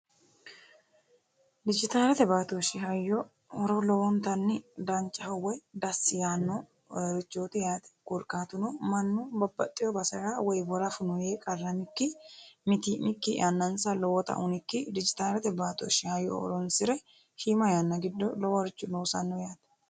Digitalete baattoshi hayyo horo lowwonittani danichaho woyi dasi yaanorichotti yaate korikkatuno mannu babbaxino baserra woyi worafu no Yee qarramikini mittimikkin yannanisa lowwota hunikkin digitalete baattoshi hayyo horonisire shiima yanna horonisire loworicho loosani yaate